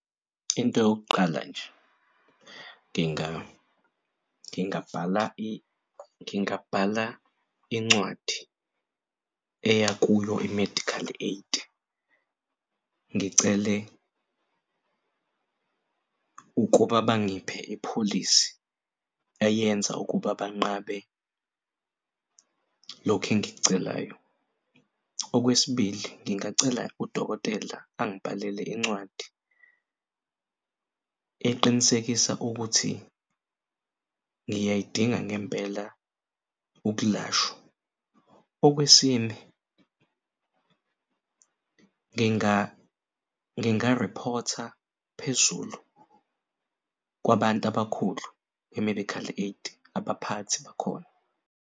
Into yokuqala nje ngingabhala ngingabhala incwadi eya kuyo i-medical aid ngicele ukuba bangiphe ipholisi eyenza ukuba banqabe lokhu engikucelayo. Okwesibili, ngingacela udokotela angibhalele incwadi eqinisekisa ukuthi ngiyayidinga ngempela ukulashwa. Okwesine, ngingarephotha phezulu kwabantu abakhulu be-medical aid abaphathi bakhona.